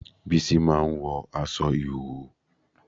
Bísí máa ń wọ aṣọ ìhòòhò